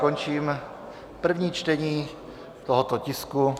Končím první čtení tohoto tisku.